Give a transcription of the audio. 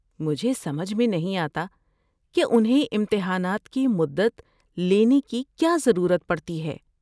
مجھے سمجھ میں نہیں آتا کہ انھیں امتحانات کی مدت لینے کی کیا ضرورت پڑتی ہے۔